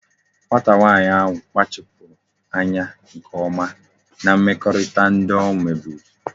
Nwata nwanyi ahu kpachapuru anya nke oma na mmekọrịta ndi o nweburu